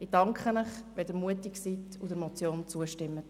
Ich danke Ihnen, wenn Sie mutig sind und der Motion zustimmen.